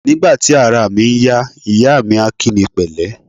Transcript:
Nígbà tí araà mi ń yá, ìyáà mi a kí mi pẹ̀lẹ́.